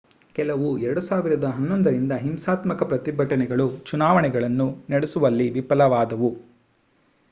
ಕೆಲವು 2011 ರಿಂದ ಹಿಂಸಾತ್ಮಕ ಪ್ರತಿಭಟನೆಗಳು ಚುನಾವಣೆಗಳನ್ನು ನಡೆಸುವಲ್ಲಿ ವಿಫಲವಾದವು